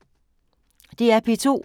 DR P2